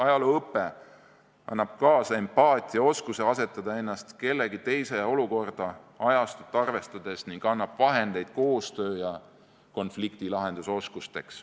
Ajalooõpe annab kaasa empaatiaoskuse asetada ennast kellegi teise olukorda ajastut arvestades ning annab vahendeid koostöö- ja konfliktilahendusoskusteks.